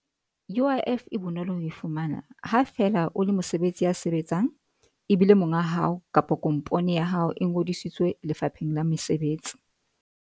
U_I _F e bonolo ho e fumana ha fela o le mesebetsi ya sebetsang ebile monga hao kapa kompone ya hao e ngodisitswe Lefapheng la Mesebetsi.